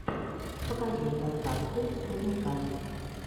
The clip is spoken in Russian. покажи подкасты рудника